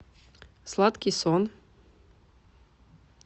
сладкий сон